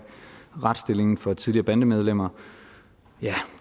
retsstillingen for tidligere bandemedlemmer ja